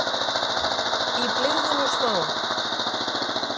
Í blygðun og smán.